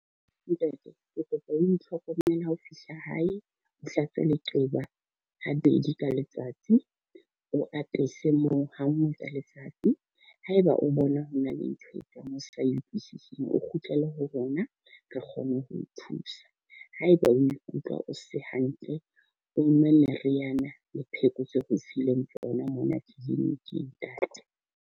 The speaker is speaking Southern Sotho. Ntate, ke kopa o itlhokomele ha o fihla hae, o hlape leqeba ha bedi ka letsatsi. O apesa moo ha nngwe tsa letsatsi. Haeba o bona hona le ntho e tlang hosane sa e utlwisising, o kgutlele ho rona re kgone ho o thusa. Haeba o ikutlwa o se hantle, o nwe meriana le pheko tseo re o fileng tsona mona clinic-ing ntate.